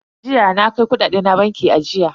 Jiya na kai kudade na bankin ajiya.